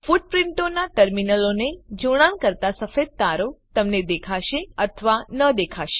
ફૂટપ્રીંટોનાં ટર્મિનલોને જોડાણ કરતા સફેદ તારો તમને દેખાશે અથવા ન દેખાશે